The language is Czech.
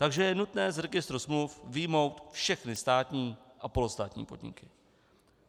Takže je nutné z registru smluv vyjmout všechny státní a polostátní podniky.